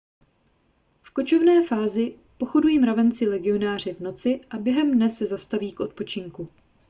v kočovné fázi pochodují mravenci legionáři v noci a během dne se zastaví k odpočinku